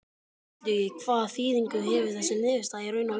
Illugi, hvaða þýðingu hefur þessi niðurstaða í raun og veru?